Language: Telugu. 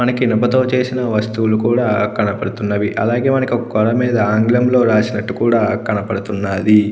మనకి ఇనుపతో చేసిన వస్తువులు కూడా కనబడుతున్నవి అలాగే మనకొక గోడమీద ఆంగ్లములో రాసినట్టుగ కూడా కనపడుతున్నాది.